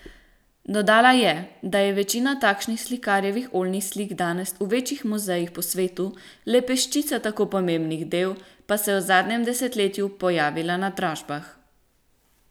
Dodala je, da je večina takšnih slikarjevih oljnih slik danes v večjih muzejih po svetu, le peščica tako pomembnih del pa se je v zadnjem desetletju pojavila na dražbah.